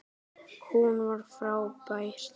Hún var frábær.